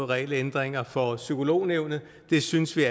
regelændringer for psykolognævnet det synes vi